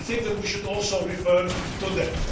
I think that we should also refer to that.